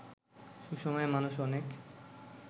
সুসময়ে মানুষ অনেক